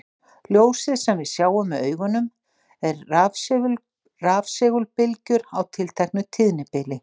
Ljósið sem við sjáum með augunum er rafsegulbylgjur á tilteknu tíðnibili.